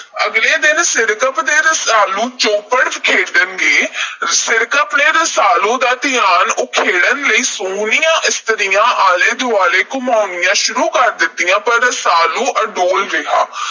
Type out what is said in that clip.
ਅਗਲੇ ਦਿਨ ਸਿਰਕੱਪ ਤੇ ਰਸਾਲੂ ਚੌਪੜ ਖੇਡਣਗੇ। ਸਿਰਕੱਪ ਨੇ ਰਸਾਲੂ ਦਾ ਧਿਆਨ ਉਖੇੜਨ ਲਈ ਸੋਹਣੀਆਂ ਇਸਤਰੀਆਂ ਆਲੇ–ਦੁਆਲੇ ਘੁਮਾਉਣੀਆਂ ਸ਼ੁਰੂ ਕਰ ਦਿੱਤੀਆਂ। ਪਰ ਰਸਾਲੂ ਅਡੋਲ ਰਿਹਾ।